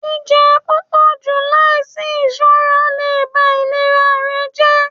jijẹun pupọju laisi iṣọra le ba ilera rẹ jẹ.